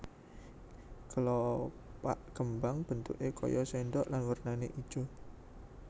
Kelopak kembang bentuké kaya sendok lan wernané ijo